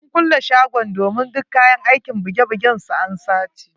Sun kulle shagon domin duk kayan aikin buge bugen su an sace.